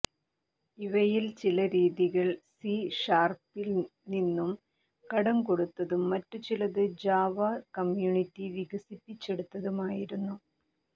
ഇവയിൽ ചില രീതികൾ സി ഷാർപ്പിൽ നിന്നും കടംകൊണ്ടതും മറ്റുചിലത് ജാവ കമ്യൂണിറ്റി വികസിപ്പിച്ചെടുത്തതുമായിരുന്നു